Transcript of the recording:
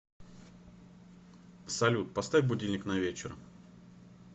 салют поставь будильник на вечер